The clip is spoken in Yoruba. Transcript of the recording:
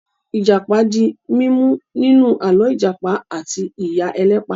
Ìjàpá di mímú nínú àlọ́ 'Ìjàpá àti Ìyá Ẹlẹ́pà'.